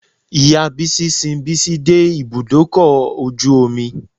Ìya Bísí sin Bísí dé ibùdókọ̀ ojú omi.